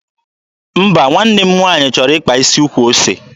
Mba, nwanne m nwaanyị chọrọ ịkpa isi ukwu ose.